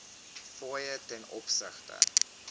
fooie ten opsigte